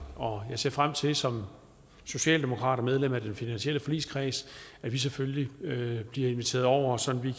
og jeg ser frem til som socialdemokrat og medlem af den finansielle forligskreds at vi selvfølgelig bliver inviteret over så vi